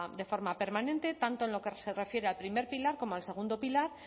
de forma permanente tanto en lo que se refiere al primer pilar como al segundo pilar